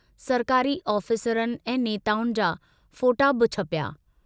सरकारी ऑफिसरनि ऐं नेताउनि जा फोटा ॿ छपिया।